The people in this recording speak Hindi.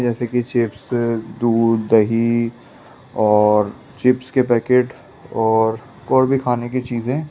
जैसे कि चिप्स दूध दही और चिप्स के पैकेट और भी खाने की चीजे ।